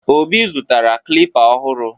Obi zụtara klịpa ọhụrụ.